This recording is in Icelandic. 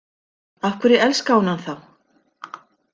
Af hverju elskaði hún hann þá?